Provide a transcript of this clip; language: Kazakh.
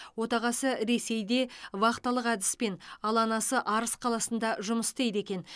отағасы ресейде вахталық әдіспен ал анасы арыс қаласында жұмыс істейді екен